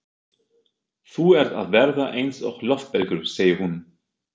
Þú ert að verða eins og loftbelgur, segir hún.